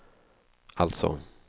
alltså